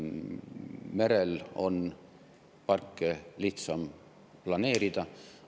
Merel on parke lihtsam planeerida.